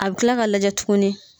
A bɛ tila k'a lajɛ tuguni.